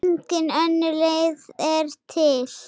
Engin önnur leið er til.